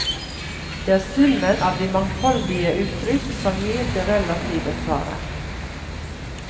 Det er summen av de mangfoldige uttrykk som gir det relative svaret.